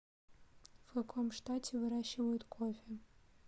в каком штате выращивают кофе